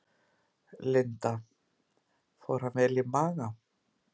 Linda: Fór hann vel í maga?